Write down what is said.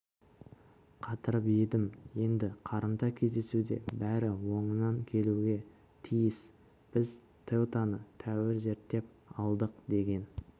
қатырып едім енді қарымта кездесуде бәрі оңынан келуге тиіс біз теутаны тәуір зерттеп алдық деген